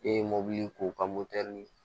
E ye mobili k'o ka